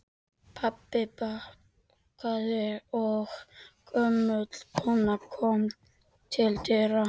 Pabbi bankaði og gömul kona kom til dyra.